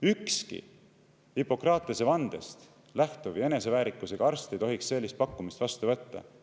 Ükski Hippokratese vandest lähtuv ja eneseväärikusega arst ei tohiks sellist pakkumist vastu võtta.